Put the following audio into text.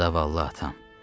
Zavallı atam.